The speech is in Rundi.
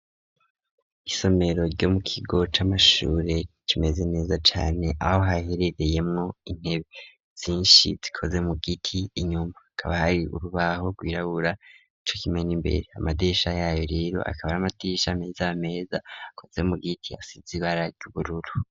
Isomero ryo mu kigo c'amashure kimeze neza cane aho haherereye mwo intebe zinshi zikoze mu giti inyumba akaba hari urubaho rwirabura co kimwe n'imbere amadirisha yayo rero akaba ari amadirisha meza akoze mu giti asize ibara ry'ubururu.